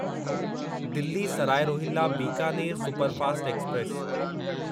Delhi Sarai Rohilla Bikaner superfast express